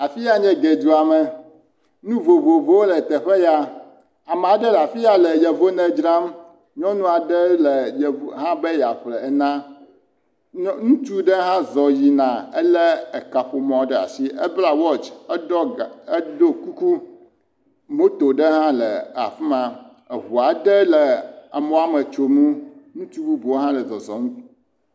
Afi yae nye ege dua me, nu vovovowo le afi ya ame aɖe le afi ya le ene dram, nyɔnu aɖe hã va be yeaƒle ene, ŋutsu ɖe ha zɔ yinz ebla watch, edo kuku, moto ɖe hã la afi ma eŋu aɖe le emɔ me tsom ŋutsiu aɖe hã le eŋu mɔ me tsom.